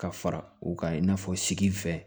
Ka fara u kan i n'a fɔ sigi fɛ